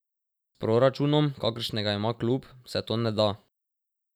S proračunom, kakršnega ima klub, se to ne da.